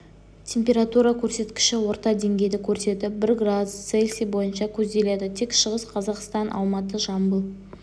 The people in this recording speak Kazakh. температура көрсеткіші орташа деңгейді көрсетіп бір градус цельсий бойынша көзделеді тек шығыс қазақстан алматы жамбыл